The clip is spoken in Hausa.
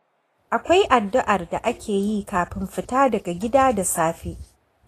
Akwai addu'ar da ake yi kafin fita daga gida da safe.